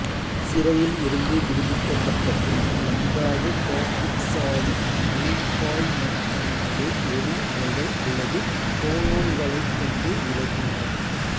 சிறையில் இருந்து விடுவிக்கப்பட்ட பின்னர் லந்தாவு காப்பித்சாவின் மீப்பாய்மத்தன்மையை ஒலி அலைகள் அல்லது போனோன்களைக் கொண்டு விளக்கினார்